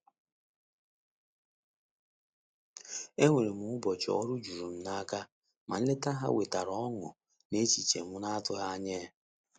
Enwere m ụbọchị ọrụ jurum n'aka, ma nleta ha wetara ọṅụ na echiche m na-atụghị anya ya.